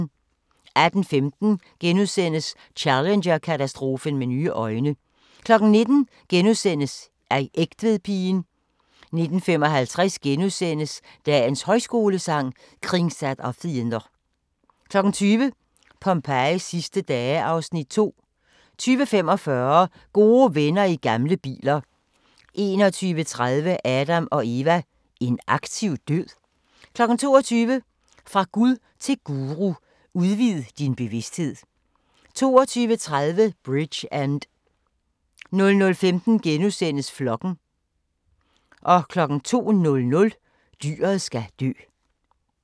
18:15: Challenger-katastrofen med nye øjne * 19:00: Egtvedpigen * 19:55: Dagens Højskolesang: Kringsatt av fiender * 20:00: Pompejis sidste dage (Afs. 2) 20:45: Gode venner i gamle biler 21:30: Adam & Eva: En aktiv død? 22:00: Fra Gud til Guru: Udvid din bevisthed 22:30: Bridgend 00:15: Flokken * 02:00: Dyret skal dø